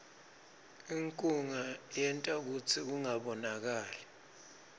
inkhunga yenta kutsi kungabonakali